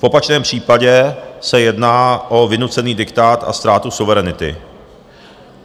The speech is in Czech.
V opačném případě se jedná o vynucený diktát a ztrátu suverenity.